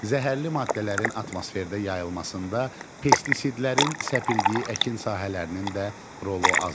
Zəhərli maddələrin atmosferdə yayılmasında pestisidlərin səpildiyi əkin sahələrinin də rolu az deyil.